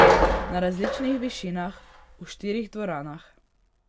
Na različnih višinah, v štirih dvoranah.